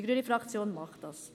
Die grüne Fraktion tut dies.